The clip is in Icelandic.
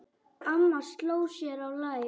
Amma sló sér á lær.